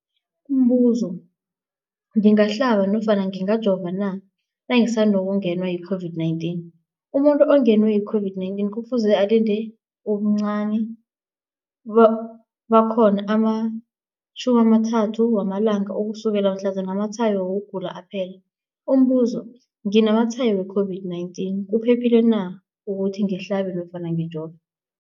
Umbuzo, ngingahlaba nofana ngingajova na nangisandu kungenwa yi-COVID-19? Umuntu ongenwe yi-COVID-19 kufuze alinde ubuncani bakhona ama-30 wama langa ukusukela mhlazana amatshayo wokugula aphela. Umbuzo, nginamatshayo we-COVID-19, kuphephile na ukuthi ngihlabe nofana ngijove?